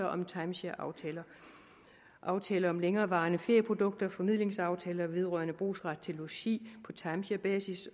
om timeshareaftaler aftaler om længerevarende ferieprodukter formidlingsaftaler vedrørende brugsret til logi på timesharebasis